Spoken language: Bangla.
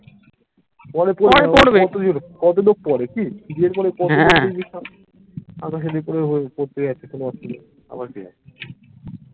পরে পড়বে কতলোক পরে কি বিয়ের পরে পড়তে সাধাসাধি করে পড়তে যাচ্ছে কোনো অসুবিধা নেই আমরা কি আছে